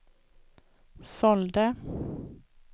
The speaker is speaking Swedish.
sålde